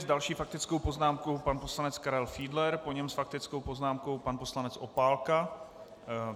S další faktickou poznámkou pan poslanec Karel Fiedler, po něm s faktickou poznámkou pan poslanec Opálka.